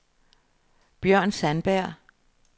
Bjørn Sandberg